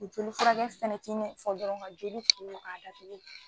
O joli furakɛ fɛnɛ ti i na fɔ dɔrɔn ka jeli ko ka datugu